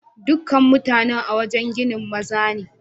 Dukan mutanen a'wajen ginin maza ne.